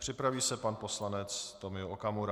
Připraví se pan poslanec Tomio Okamura.